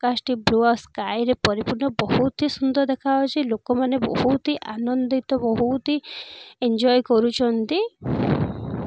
Caste ଏ ପୁଅ sky ରେ ପରିପୂର୍ଣ୍ଣ ବହୁତ ହି ସୁନ୍ଦର ଦେଖାହେଉଛି ଲୋକମାନେ ବହୁତ ହିଁ ଆନନ୍ଦିତ ବହୁତ ହିଁ ଏନଜୟ କରୁଛନ୍ତି.